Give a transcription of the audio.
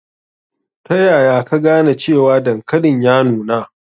Ta yaya ka gane cewa dankalin ya nuna?